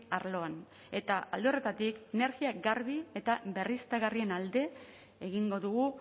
arloan eta alde horretatik energia garbi eta berriztagarrien alde egingo dugu